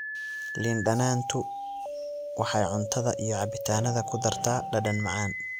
Liin dhanaantu waxay cuntada iyo cabbitaannada ku dartaa dhadhan macaan.